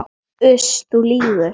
Uss, þú lýgur.